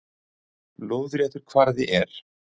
Lóðréttur kvarði er